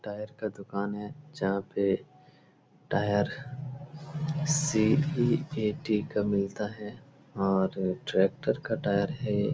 Tyre दुकान है जहां पे टायर सिईऐटी का मिलता है और ट्रैक्टर का टायर है।